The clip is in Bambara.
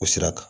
O sira kan